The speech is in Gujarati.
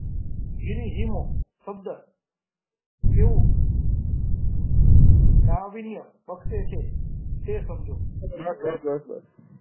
ગિરિહીમો શબ્દ કેવું નાવીન્ય પક્ષ છે તે સમજો બસ બસ બસ બસ